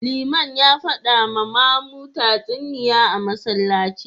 Liman ya fada ma mamu tatsuniya a Masallaci